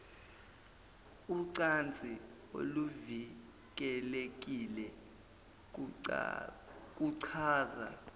ucansi oluvikelekile kuchaza